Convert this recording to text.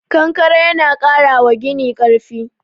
Konkare yana ƙara wa gini karfi